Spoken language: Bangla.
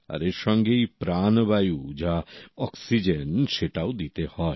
আর এর সঙ্গেই প্রাণবায়ু যা অক্সিজেন সেটাও দিতে হয়